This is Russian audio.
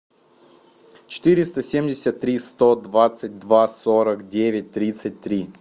четыреста семьдесят три сто двадцать два сорок девять тридцать три